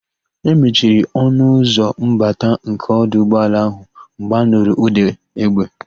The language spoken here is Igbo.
E mechiri ọnụ ụzọ mbata nke ọdụ ụgbọala ahụ mgbe anụrụ ụ̀dà égbè.